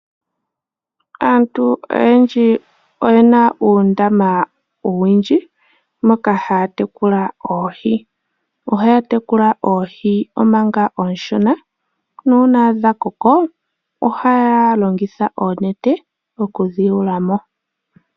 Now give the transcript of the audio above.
Aantu oyendji oyena uundama owundji moka haya tekula oohi. Ohaya tekula oohi omanga oonshona nuuna dhakoko ohaya longitha oonete okudhi yula mo.